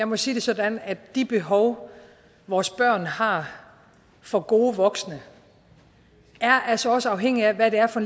må sige det sådan at de behov vores børn har for gode voksne altså også er afhængige af hvad det er for